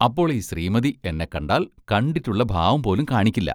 അപ്പോൾ ഈ ശ്രീമതി എന്നെക്കണ്ടാൽ കണ്ടിട്ടുള്ള ഭാവം പോലും കാണിക്കില്ല.